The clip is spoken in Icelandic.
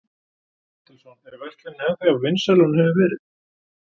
Páll Ketilsson: Er verslunin ennþá jafn vinsæl og hún hefur verið?